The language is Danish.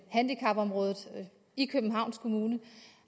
handicapområdet i københavns kommune